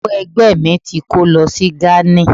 ìyàwó Egbe mi ti ko lo sí gani